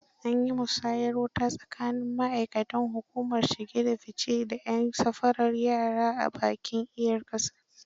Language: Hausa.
An yi musayar wuta tsakanin ma'aikatan hukumar shige da fi ce da 'yan safarar yara a bakin iyar ƙasa.